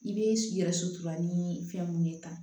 I bɛ yɛrɛ sutura ni fɛn mun ye tan